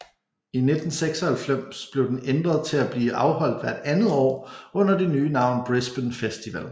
I 1996 blev den ændret til at blive afholdt hvert andet år under det nye navn Brisbane Festival